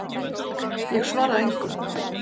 Ég svara engu.